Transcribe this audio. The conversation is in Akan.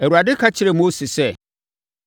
Awurade ka kyerɛɛ Mose sɛ,